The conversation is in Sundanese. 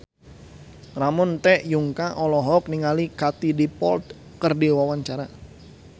Ramon T. Yungka olohok ningali Katie Dippold keur diwawancara